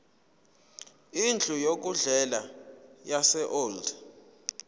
indlu yokudlela yaseold